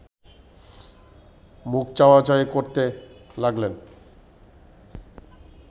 মুখ চাওয়া-চাওয়ি করতে লাগলেন